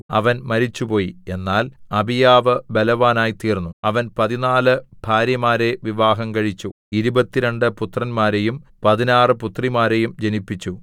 അവൻ മരിച്ചുപോയി എന്നാൽ അബീയാവ് ബലവാനായത്തീർന്നു അവൻ പതിനാലു ഭാര്യമാരെ വിവാഹം കഴിച്ചു ഇരുപത്തിരണ്ടു പുത്രന്മാരെയും പതിനാറു പുത്രിമാരെയും ജനിപ്പിച്ചു